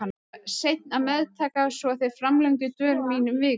Ég var seinn að meðtaka svo þeir framlengdu dvöl mína um viku.